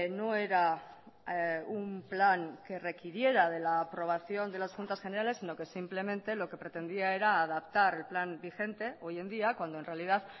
no era un plan que requiriera de la aprobación de las juntas generales sino que simplemente lo que pretendía era adaptar el plan vigente hoy en día cuando en realidad